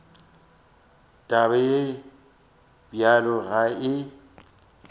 taba ye bjalo ga e